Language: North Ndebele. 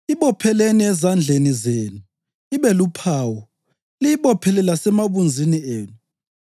Ibopheleni ezandleni zenu ibe luphawu, liyibophele lasemabunzini enu.